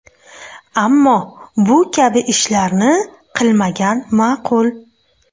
Ammo bu kabi ishlarni qilmagan ma’qul.